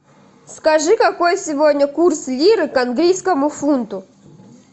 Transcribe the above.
скажи какой сегодня курс лиры к английскому фунту